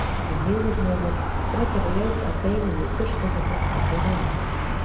Því miður hefur frekari leit að beinum í Burstarfelli ekki borið árangur.